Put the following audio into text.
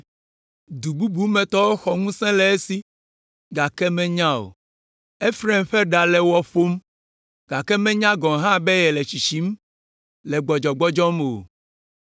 Du bubu me tɔwo xɔ ŋusẽ le esi, gake menya o. Efraim ƒe ɖa le wɔ ƒom, gake menya gɔ̃ hã be yele tsitsim le gbɔdzɔgbɔdzɔm o.